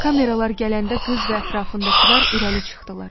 Kameralar gələndə qız və ətrafındakılar irəli çıxdılar.